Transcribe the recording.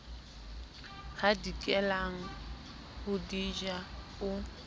hadikelang ho di ja o